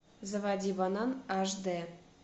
заводи банан аш дэ